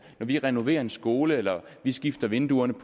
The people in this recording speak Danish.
når vi renoverer en skole eller skifter vinduerne